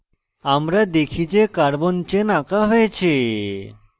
আমরা দেখি যে carbon chain আঁকা হয়েছে